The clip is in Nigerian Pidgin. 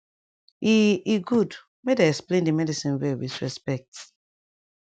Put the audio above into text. e e gud make dem explain d medicine well wit respect